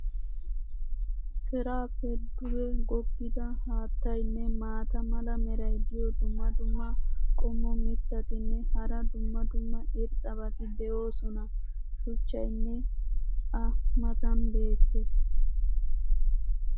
keraappe duge goggidda haattaynne maata mala meray diyo dumma dumma qommo mitattinne hara dumma dumma irxxabati de'oosona. shuchchaynne a matan beettees.